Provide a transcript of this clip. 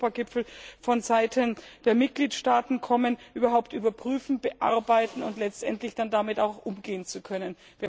beim Europagipfel von Seiten der Mitgliedstaaten kommen, diese überhaupt überprüfend bearbeiten und letztendlich dann damit auch umgehen zu können.